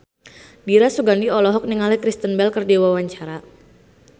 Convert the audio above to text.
Dira Sugandi olohok ningali Kristen Bell keur diwawancara